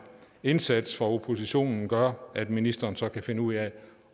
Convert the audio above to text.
indsats fra oppositionens side gør at ministeren så kan finde ud af